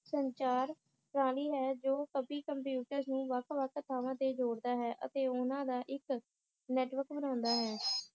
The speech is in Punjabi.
ਸੰਚਾਰ ਜੋ ਸਬੀ computers ਨੂੰ ਵੱਖ ਵੱਖ ਥਾਵਾਂ ਤੇ ਜੋੜਦਾ ਹੈ ਅਤੇ ਉਹਨਾਂ ਦਾ ਇਕ ਨੈਟਵਰਕ ਬਣਾਉਂਦਾ ਹੈ